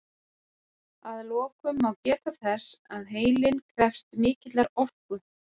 Að lokum má geta þess að heilinn krefst mikillar orku.